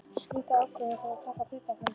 Slíka ákvörðun þarf að taka á hluthafafundi.